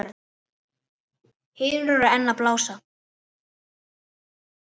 Hinar eru enn að blása.